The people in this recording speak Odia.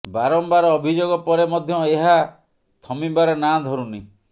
ବାରମ୍ୱାର ଅଭିଯୋଗ ପରେ ମଧ୍ୟ ଏହା ଥମିବାର ନାଁ ଧରୁନି